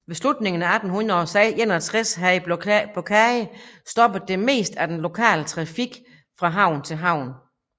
Ved slutningen af 1861 havde blokaden stoppet det meste af den lokale trafik fra havn til havn